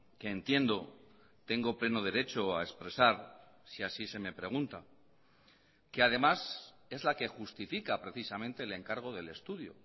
que entiendo tengo pleno derecho a expresar si así se me pregunta que además es la que justifica precisamente el encargo del estudio